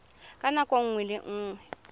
ka nako nngwe le nngwe